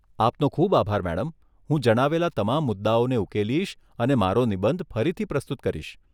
આપનો ખૂબ આભાર મેડમ, હું જણાવેલા તમામ મુદ્દાઓને ઉકેલીશ અને મારો નિબંધ ફરીથી પ્રસ્તુત કરીશ.